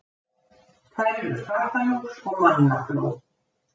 þær eru fatalús og mannafló